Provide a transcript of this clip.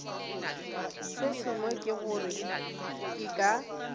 sengwe ke gore ke ka